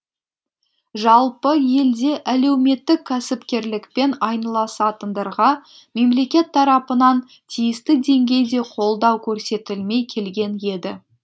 жалпы елде әлеуметтік кәсіпкерлікпен айналысатындарға мемлекет тарапынан тиісті деңгейде қолдау көрсетілмей келген еді